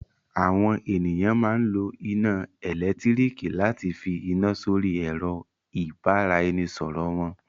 Àwọn ènìyàn máa ń lo iná ẹ̀lẹ́tíríkì láti fi iná sórí ẹ̀rọ-ìbánisọ̀rọ̀ wọn.